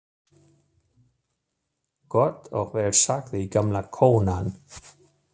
Gott og vel sagði gamla konan.